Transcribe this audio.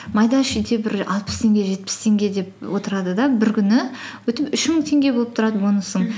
майда шүйде бір алпыс теңге жетпіс теңге деп отырады да бір күні үш мың теңге болып тұрады бонусың